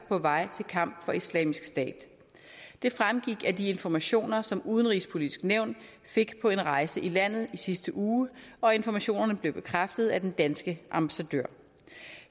på vej til kamp for islamisk stat det fremgik af de informationer som udenrigspolitisk nævn fik på en rejse i landet i sidste uge og informationerne blev bekræftet af den danske ambassadør